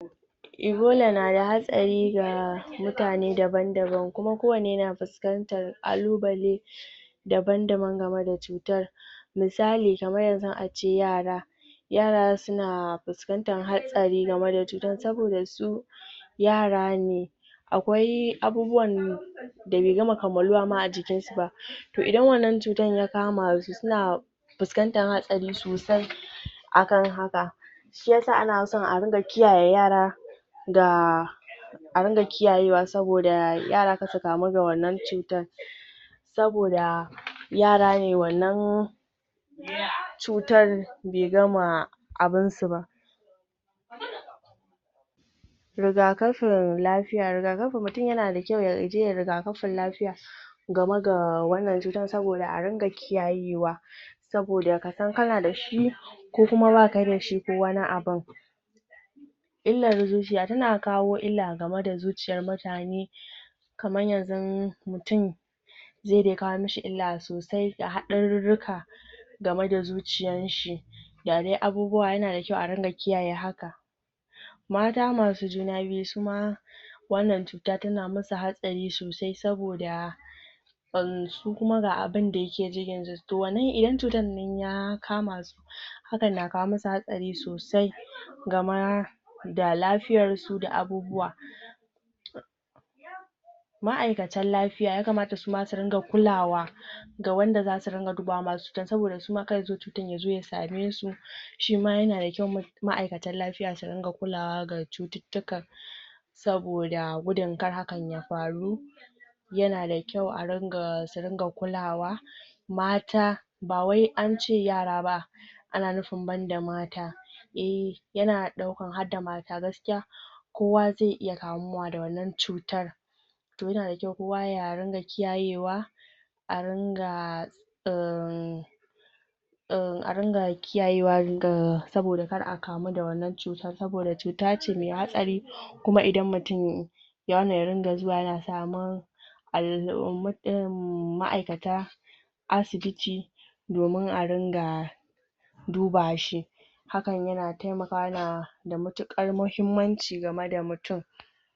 Ebola na da hatsari ga mutane daban-daba, kuma ko wanne na fuskantar ƙalubale daban-daban game da cutar. Misali: kamar yanzu a ce yara, yara suna fuskantar hatsari game da cutar, saboda su yara ne. Akwai abubuwan da bai gama kammaluwa ma a jikin su ba, to idan wannan cutar ya kama su suna fuskantar hatsari sosai a kan haka, shi yasa ana so a ringa kiyaye yara,? a ringa kiyayewa saboda yara kar su kamu da wannan cutar, saboda yara ne. Wannan? cutar bai gama abinsu ba. Rigakafin lafiya: rigakafi: mutum yana da kyau yaje yayi rigakafin lafiya game ga wannan cutar, saboda a ringa kiyayewa, saboda kasan kana dashi, ko kuma baka dashi ko wani abun. Illar zuciya: tana kawo illa game da zuciyar mutane.?? zai dai kawo mishi illa sosai, da haɗarurruka game da zuciyan shi, da dai abubuwa, yana da kyau a ringa kiyaye haka. Mata masu juna biyu su ma wannan cuta tana musu hatsari sosai saboda? su kuma ga abinda yake cikin su, to? idan cutar nan ya kama su hakan na kawo musu hatsari sosai, game da lafiyar su da abubuwa. Ma'aikatan lafiya: ya kamata su ma su ringa kulawa ga wanda zasu ringa dubawa masu cutar, saboda su ma kar yazo cutar ya zo ya same su, shi ma yana da kyau ma'aikatan lafiya su ringa kulawa ga cututtuka, saboda gudun kar hakan ya faru, yana da kyau? su ringa kulawa Mata: ba wai an ce yara ba ana nufin banda mata eh, yana dauka harda mata gaskiya, kowa zai iya kamuwa da wannan cutar. To yana da kyau kowa ya ringa kiyayewa a ringa?? kiyayewa? saboda kar a kamu da wannan cutar, saboda cuta ce mai hatsari, kuma idan mutum ya? ya ringa zuwa yana samun? ma'aikatan asibiti domin a ringa duba shi. Hakan yana taimakawa, da matuƙar muhummanci game da mutum